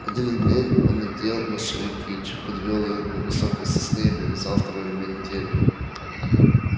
один ремень он надел на шею кичи подвёл её к невысокой сосне и привязал второй ремень к дереву